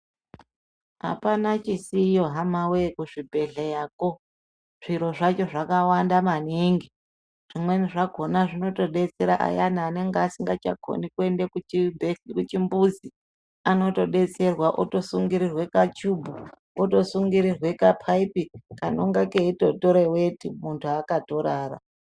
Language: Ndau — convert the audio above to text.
Apana chisiyo hamawee kuzvibhedhleyako. Zviro zvacho zvakawanda maningi. Zvimweni zvakona zvinotobetsera ayani anenge asingachakoni kuende kuchimbuzi. Anotodetserwa otosungirirwe kachubu, otosungirirwe kapaipi kanenge keyitotore weti, muntu akatorara.